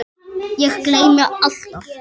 Ég gleymi alltaf.